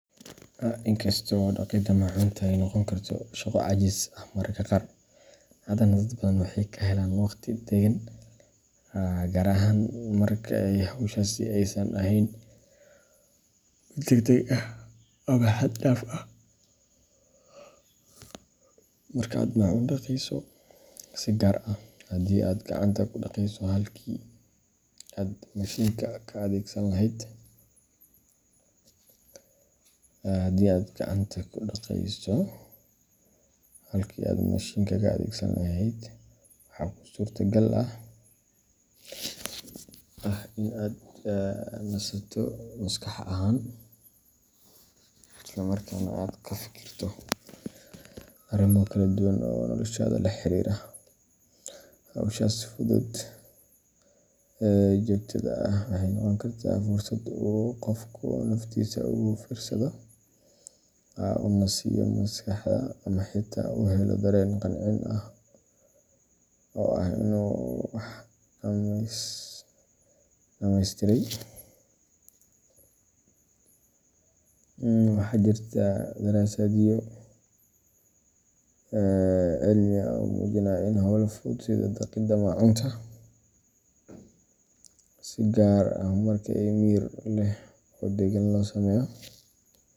In kasta oo dhaqidda maacuunta ay noqon karto shaqo caajis ah mararka qaar, haddana dad badan waxay ka helaan waqti deggan, gaar ahaan marka hawshaasi aysan ahayn mid degdeg ah ama xad dhaaf ah. Marka aad maacuun dhaqayso, si gaar ah haddii aad gacanta ku dhaqayso halkii aad mashiinka ka adeegsan lahayd, waxaa kuu suurtagal ah in aad nasato maskax ahaan, isla markaana aad ka fikirto arrimo kala duwan oo noloshaada la xiriira. Hawshaas fudud ee joogtada ah waxay noqon kartaa fursad uu qofku naftiisa ugu fiirsado, u nasiyo maskaxda, ama xitaa u helo dareen qancin ah oo ah inuu wax dhammaystiray. Waxaa jirta daraasadyo cilmi ah oo muujinaya in hawlaha fudud sida dhaqidda maacuunta, si gaar ah marka si miyir leh oo deggan loo sameeyo.